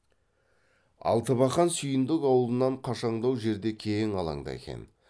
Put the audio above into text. алтыбақан сүйіндік аулынан қашаңдау жерде кең алаңда екен